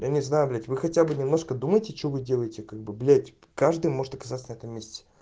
я не знаю блять вы хотя бы немножко думайте что вы делаете как бы блять каждый может оказаться на этом месте